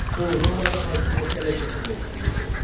O Romada hakimiyyətə ələ keçirmək istəyirdi.